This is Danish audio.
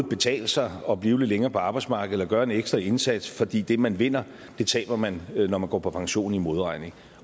betale sig at blive lidt længere på arbejdsmarkedet eller gøre en ekstra indsats fordi det man vinder taber man når man går på pension i modregning